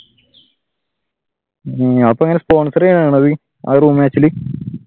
അപ്പൊ എങ്ങനെ sponsor ചെയ്യുകയാണോ അത് room match ഇൽ?